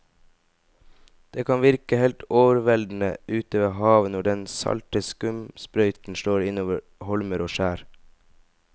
Det kan virke helt overveldende ute ved havet når den salte skumsprøyten slår innover holmer og skjær.